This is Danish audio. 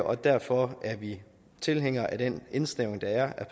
og derfor er vi tilhængere af den indsnævring der er